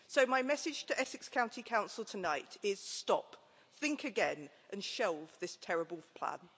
So my message to Essex County Council tonight is Stop, think again and shelve this terrible plan.'